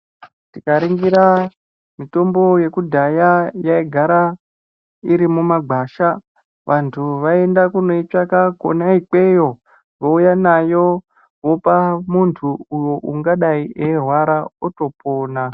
Tikaringira mitombo yekudhaya yaigara irimuma gwasha. Vantu vaienda kunoitsvaka kona ikweyo vouya nayo vopa muntu uwu ungadai eirwara otopona.